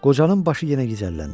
Qocanın başı yenə gicəlləndi.